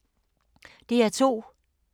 DR2